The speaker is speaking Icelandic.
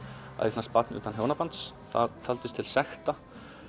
að eignast barn utan hjónabands það taldist til sekta